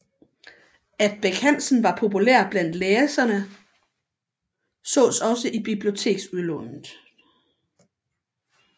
At Bech Hansen var populær blandt læserene sås også i biblioteksudlånet